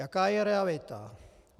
Jaká je realita?